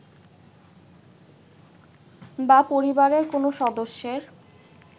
বা পরিবারের কোন সদস্যের